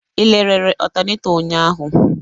Ị lerere ọtaneto ụnyaahụ?